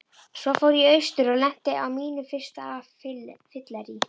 Svo fór ég austur og lenti á mínu fyrsta fylleríi.